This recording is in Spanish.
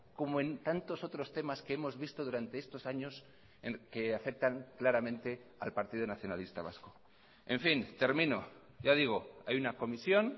como en tantos otros temas que hemos visto durante estos años que afectan claramente al partido nacionalista vasco en fin termino ya digo hay una comisión